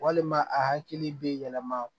Walima a hakili bɛ yɛlɛma